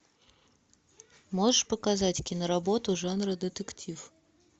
можешь показать киноработу жанра детектив